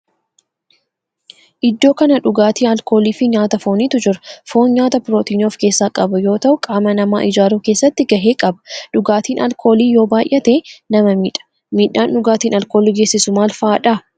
Iddoo kana dhugaatii alkoolii fi nyaata foonitu jira. Foon nyaata pirootinii of keessaa qabu yoo ta'u qaama namaa ijaaruu keessatti gahee qaba. Dhugaatin alkoolii yoo baayyate nama miidha. Miidhaan dhugaatin alkoolii geessisu maal fa'aadha?